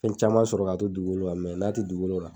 Fɛn caman sɔrɔ ka to dugukolo kan n'a ti dugukolo kan